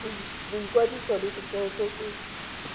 boikwadiso le setheo se se